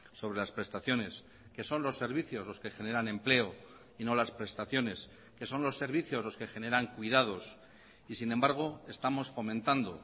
sobre las prestaciones que son los servicios los que generan empleo y no las prestaciones que son los servicios los que generan cuidados y sin embargo estamos fomentando